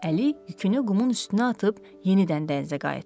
Əli yükünü qumun üstünə atıb yenidən dənizə qayıtdı.